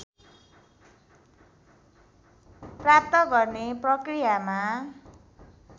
प्राप्त गर्ने प्रकृयामा